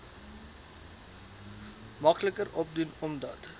makliker opdoen omdat